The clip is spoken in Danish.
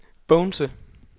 Bogense